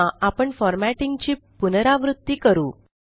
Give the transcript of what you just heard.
पुन्हा आपण फ़ॉरमॅटिंग ची पुनरावृत्ती करू